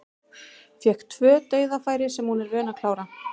Fékk tvö dauðafæri sem hún er vön að klára.